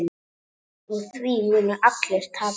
Á því munu allir tapa.